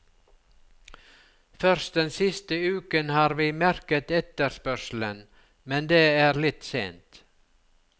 Først den siste uken har vi merket etterspørselen, men det er litt sent.